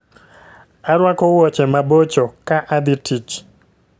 Arwako wuoche mabocho ka adhi tich